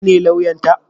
Kai ne lauyan ta?